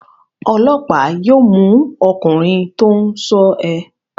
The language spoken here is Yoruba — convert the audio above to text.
Ọlọ́pàá yóò mú ọkùnrin tó ń ṣọ́ ẹ.